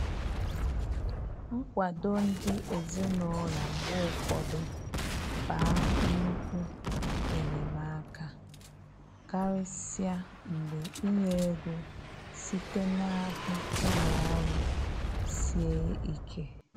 Nkwado ndi ezinaụlọ mgbe ụfọdụ ba nnukwu enyemaka, karịsịa mgbe inye ego site n'aka ụlọ ọrụ sie ike.